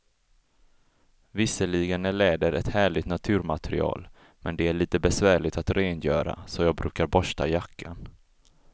Visserligen är läder ett härligt naturmaterial, men det är lite besvärligt att rengöra, så jag brukar borsta jackan.